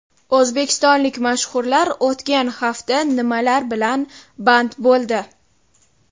O‘zbekistonlik mashhurlar o‘tgan hafta nimalar bilan band bo‘ldi?